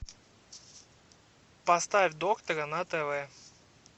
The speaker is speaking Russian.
поставь доктора на тв